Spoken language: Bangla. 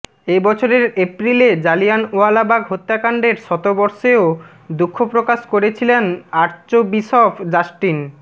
এ বছরের এপ্রিলে জালিয়ানওয়ালাবাগ হত্যাকাণ্ডের শতবর্ষেও দুঃখপ্রকাশ করেছিলেন আর্চবিশপ জাস্টিন